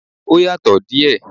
Ó yàtọ̀ díẹ̀